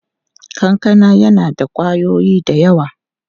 Kankana yana da ƙwayoyi da yawa.